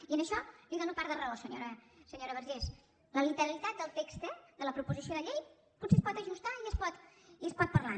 i en això li dono part de raó senyora vergés la literalitat del text de la proposició de llei potser es pot ajustar i es pot parlar